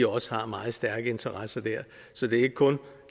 også har meget stærke interesser der så det er ikke kun